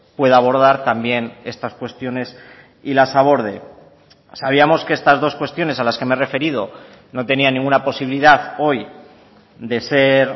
pueda abordar también estas cuestiones y las aborde sabíamos que estas dos cuestiones a las que me he referido no tenían ninguna posibilidad hoy de ser